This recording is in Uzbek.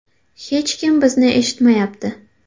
Hech kim bizni eshitmayapti.